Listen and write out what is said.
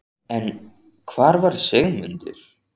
En hvar var Sigmundur?